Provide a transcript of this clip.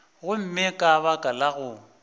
gomme ka baka la go